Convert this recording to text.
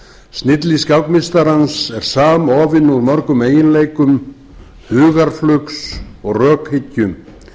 snilli skákmeistarans er samofin úr mörgum eiginleikum hugarflugs og rökhyggju